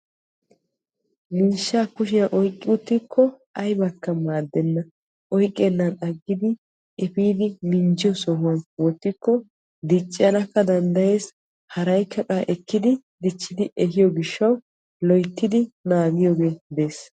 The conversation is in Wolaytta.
Miishshaa kushiyaan oyqqi uttikko aybakka maaddenna. oyqqenan aggidi epiidi minjjiyoo sohuwaan wottikko diccanaka danddayees haraykka qassi ekkidi dichchidi ehiyoo giishshawu loyttidi naagiyoogee dees.